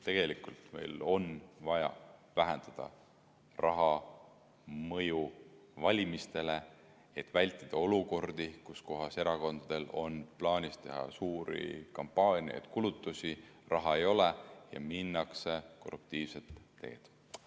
Tegelikult meil on vaja vähendada raha mõju valimistele, et vältida olukordi, kus erakondadel on plaanis teha suuri kampaaniaid, kulutusi, raha ei ole ja minnakse korruptiivset teed.